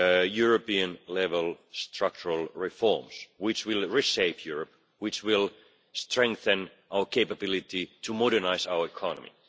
European level structural reforms which will reshape Europe, and which will strengthen our capability to modernise our economy.